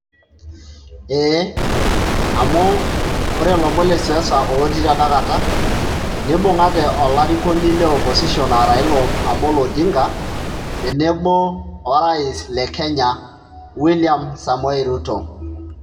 eee amu ore ilomon lesiasa oti tenakata neibungate olarikoni le [csopposition naa Raila omolo Odinga otenebo orais lekenya william somoei ruto,